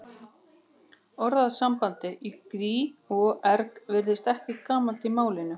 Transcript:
Orðasambandið í gríð og erg virðist ekki gamalt í málinu.